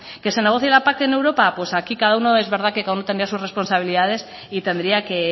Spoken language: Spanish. que se negocie la pac en europa pues aquí cada uno es verdad que con no tener sus responsabilidades y tendría que